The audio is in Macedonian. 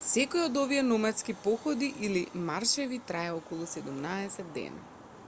секој од овие номадски походи или маршеви трае околу 17 дена